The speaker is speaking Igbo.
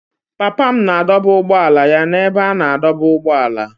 Papa m na-adọba ụgbọala ya n'ebe a na-adọba ụgbọala.